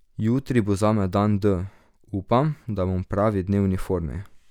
Jutri bo zame dan D, upam, da bom v pravi dnevni formi.